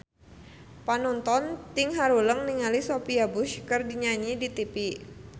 Panonton ting haruleng ningali Sophia Bush keur nyanyi di tipi